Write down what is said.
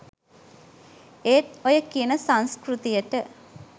ඒත් ඔය කියන සංස්කෘතියට